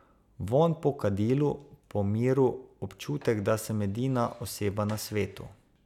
Vonj po kadilu, po miru, občutek, da sem edina oseba na svetu.